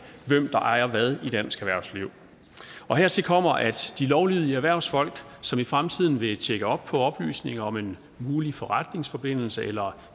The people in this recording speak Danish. ejer hvad i dansk erhvervsliv hertil kommer at de lovlydige erhvervsfolk som i fremtiden gerne vil tjekke op på oplysninger om en mulig forretningsforbindelse eller